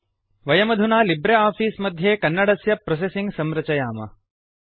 वयमधुना libre office मध्ये कन्नडस्य प्रोसेसिंग संरचयाम